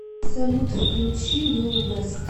салют включи лил вэст